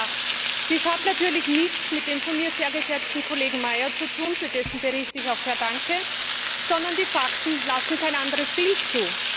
2008. Dies hat natürlich nichts mit dem von mir sehr geschätzten Kollegen Meyer zu tun, für dessen Bericht ich auch sehr danke, sondern die Fakten lassen kein anderes Bild zu.